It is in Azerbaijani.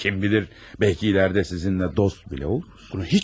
Kim bilir, bəlkə gələcəkdə sizinlə dost belə olarıq.